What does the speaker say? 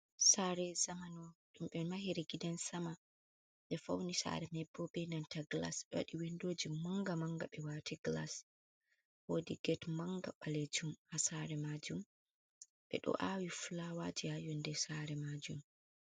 Sare zamano ɗum ɓe mahiri gidan sama, nde fauni sare mai bo bei nanta glas, ɓe waɗi windo ji manga manga ɓe wati glas. Wodi get manga balejum ha sare majum ɓe ɗo awi flawaji ha yonde sare majum.